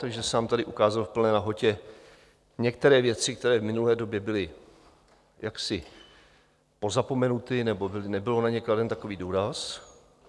Takže se nám tady ukázaly v plné nahotě některé věci, které v minulé době byly jaksi pozapomenuty, nebo nebyl na ně kladen takový důraz.